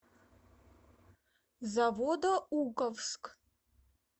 заводоуковск